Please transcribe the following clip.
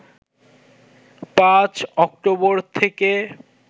৫ October থেকে